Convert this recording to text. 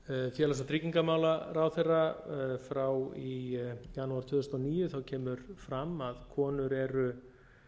félags og tryggingamálaráðherra frá í janúar tvö þúsund og níu kemur fram að konur eru